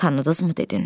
Tanıdızmı dedin?